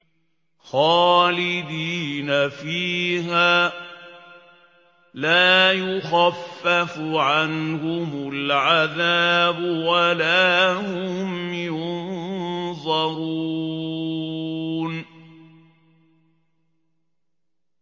خَالِدِينَ فِيهَا ۖ لَا يُخَفَّفُ عَنْهُمُ الْعَذَابُ وَلَا هُمْ يُنظَرُونَ